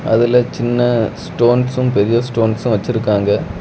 அதுல சின்ன ஸ்டோன்ஸும் பெரிய ஸ்டோன்சும் வச்சிருக்காங்க.